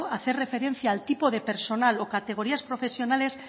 hacer referencia al tipo de personal o categorías profesionales